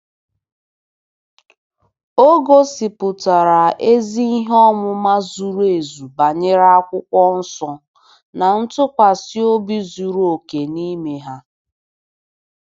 O gosipụtara ezi ihe ọmụma zuru ezu banyere Akwụkwọ Nsọ na ntụkwasị obi zuru oke n'ime ha.